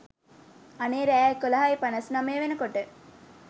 අනේ රෑ එකොළහයි පනස් නමය වෙනකොට